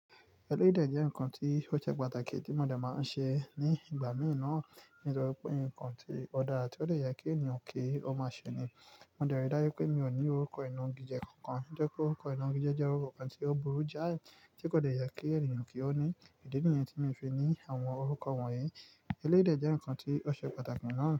Ẹlẹ́yi dè jẹ́ ǹkan tí ó ṣe pàtàkì tí mo dẹ̀ máa ń ṣe ní ìgbà mi naa, nítorí pé ǹkan tí ó dá ra ti o dè ye kí èèyàn kí ó máa ṣe ni. Mo dẹ̀ rí dájú pé mi ò ní orúkọ inogi jẹ́ kankan, ojẹ́ pe orúkọ inogi jẹ́ jẹ́ orúkọ kan tí ó burú jáì, tí kò de ye kí èèyàn kí ó ní. Ìdí nìyẹn tí min fi ní àwọn orúkọ wọ̀nyí. Ẹlẹ́yi dè jẹ́ ǹkan tí ó ṣe pàtàkì nàá.